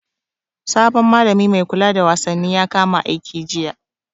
Sabon malami mai kula da wasanni ya kama aiki jiya.